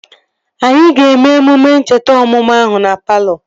Anyị ga-eme emume ncheta ọmụmụ ahụ na palọ